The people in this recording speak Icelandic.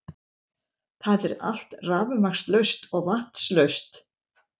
Það er allt rafmagnslaust og vatnslaust